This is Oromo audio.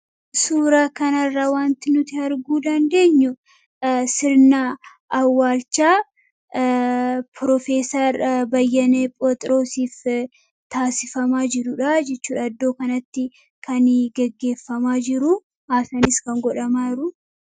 Suura kanarraa wanti nuti arguu dandeenyu sirnaa awaalchaa Piroofessar Bayyanee Pheexroosiif taasifamaa jiruudha jichuudha. Iddoo kanatti kani geggeeffamaa jiru aasanis kan godhamaa jirudha.